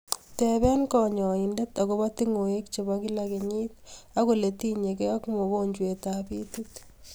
Tebee kanyaindet agobaa tungweek cheboo kila kenyit ak ole tinyegee ak mogonjwet ab itiit